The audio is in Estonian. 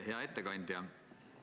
Hea ettekandja!